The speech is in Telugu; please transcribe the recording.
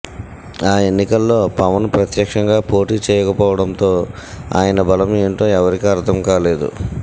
ఆ ఎన్నికల్లో పవన్ ప్రత్యక్షంగా పోటి చేయకపోవటంతో ఆయన బలం ఏంటో ఎవరికీ అర్ధం కాలేదు